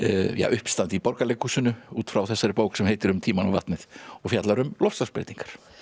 uppistand í Borgarleikhúsinu út frá þessari bók sem heitir um tímann og vatnið og fjallar um loftslagsbreytingar